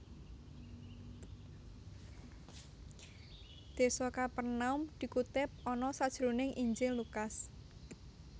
Désa Kapernaum dikutip ana sajroning Injil Lukas